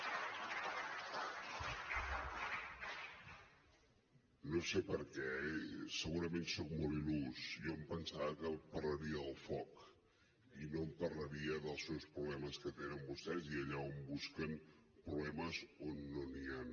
no sé per què segurament soc molt il·lús jo em pensava que parlaria del foc i no em parlaria dels seus problemes que tenen vostès i allà on busquen problemes on no n’hi han